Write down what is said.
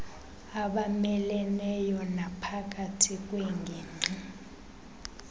abameleneyo naphakathi kweengingqi